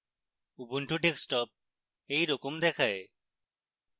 ubuntu desktop এই রকম দেখায়